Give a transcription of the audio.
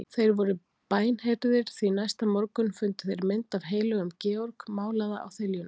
Þeir voru bænheyrðir, því næsta morgun fundu þeir mynd af heilögum Georg málaða á þiljuna.